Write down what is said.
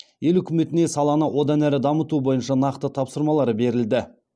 ел үкіметіне саланы одан әрі дамыту бойынша нақты тапсырмалар берілді